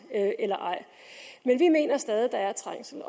men vi mener stadig der er trængsel